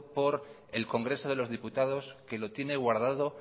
por el congreso de los diputados que lo tiene guardado